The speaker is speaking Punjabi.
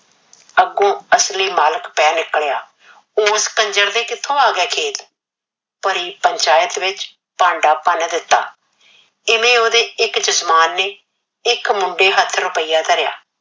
ਅੱਗੋਂ ਅਸਲੀ ਮਾਲਕ ਪੈ ਨਿਕਲਿਆ, ਉਸ ਕੰਜਰ ਦੇ ਕਿਥੋਂ ਆ ਗਿਆ ਖੇਤ। ਭਰੀ ਪੰਚਾਇਤ ਵਿਚ ਭਾਂਡਾ ਭੰਨ ਦਿੱਤਾ। ਇਵੇਂ ਉਹਦੇ ਇਕ ਜਜਮਾਨ ਨੇ ਇਕ ਮੁੰਡੇ ਹੱਥ ਰੁਪਿਆ ਧਰਿਆ।